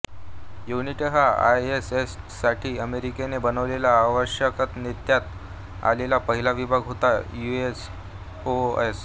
unity हा आयएसएससाठी अमेरिकेने बनवलेला अवकाशात नेण्यात आलेला पहिला विभाग होता युएसओएस